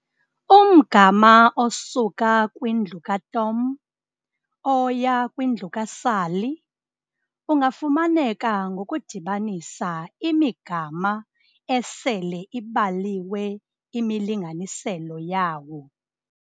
Umgama osuka kwindlu kaTom oya kwindlu kaSally ungafumaneka ngokudibanisa imigama esele ibaliwe imilinganiselo yawo.